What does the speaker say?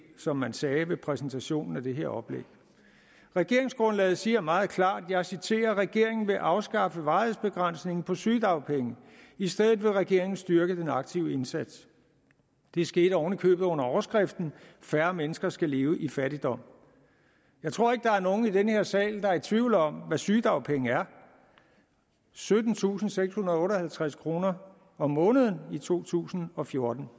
som man sagde ved præsentationen af det her oplæg regeringsgrundlaget siger meget klart og jeg citerer regeringen vil afskaffe varighedsbegrænsningen på sygedagpenge i stedet vil regeringen styrke den aktive indsats det skete oven i købet under overskriften færre mennesker skal leve i fattigdom jeg tror ikke der er nogen i den her sal der er i tvivl om hvad sygedagpengene er syttentusinde og sekshundrede og otteoghalvtreds kroner om måneden i to tusind og fjorten